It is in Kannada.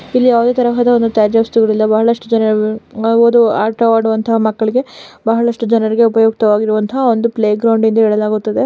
ಇಲ್ಲಿ ಯಾವದೆ ತರಹದ ತ್ಯಾಜ್ಯ ವಸ್ತುಗಳು ಇಲ್ಲ ಬಹಳಷ್ಟು ಜನರು ಅವರು ಆಟವಾಡುವಂತ ಮಕ್ಕಳಿಗೆ ಬಹಳಷ್ಟು ಜನರಿಗೆ ಉಪಯುಕ್ತವಾಗಿರುವಂತ ಒಂದು ಪ್ಲೇಗ್ರೌಂಡ್ ಎಂದು ಹೇಳಲಾಗುತ್ತದೆ.